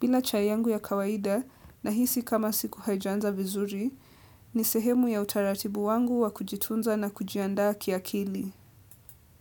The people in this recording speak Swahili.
Bila chai yangu ya kawaida nahisi kama siku haijaaza vizuri ni sehemu ya utaratibu wangu wa kujitunza na kujiandaa kia kili.